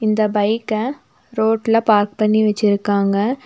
இந்த பைக்க ரோட்ல பார்க் பண்ணி வச்சிருக்காங்க.